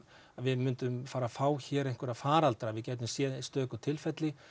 við myndum fara að fá hér einhverja faraldra við gætum séð stöku tilfelli